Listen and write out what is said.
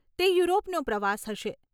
તે યુરોપનો પ્રવાસ હશે.